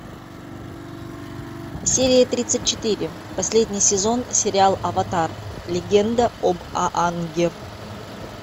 серия тридцать четыре последний сезон сериал аватар легенда об аанге